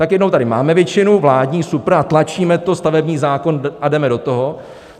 Tak jednou tady máme většinu, vládní, super, a tlačíme to, stavební zákon, a jdeme do toho.